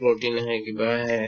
protein আহে কিবা আহে